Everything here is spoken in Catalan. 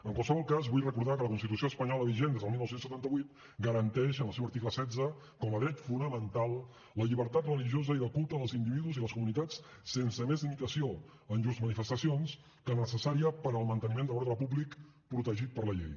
en qualsevol cas vull recordar que la constitució espanyola vigent des del dinou setanta vuit garanteix en el seu article setze com a dret fonamental la llibertat religiosa i de culte dels individus i les comunitats sense més limitació en llurs manifestacions que la necessària per al manteniment de l’ordre públic protegit per la llei